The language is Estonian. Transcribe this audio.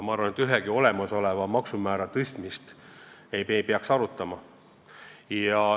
Ma arvan, et ühegi olemasoleva maksumäära tõstmist ei peaks arutama.